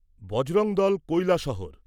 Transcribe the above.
Bajrang Dal Kailashahar